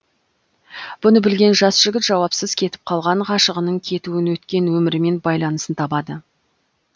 бұны білген жас жігіт жауапсыз кетіп қалған ғашығының кетуін өткен өмірімен байланысын табады